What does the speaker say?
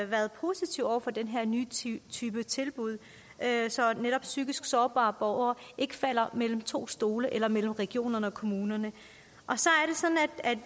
været positive over for den her nye type tilbud så netop psykisk sårbare borgere ikke falder mellem to stole eller mellem regionerne og kommunerne